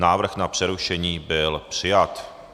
Návrh na přerušení byl přijat.